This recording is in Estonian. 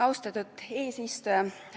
Austatud eesistuja!